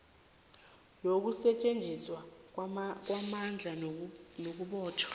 yokusetjenziswa kwamandla nakubotjhwa